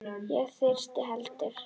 Og ekki þyrst heldur.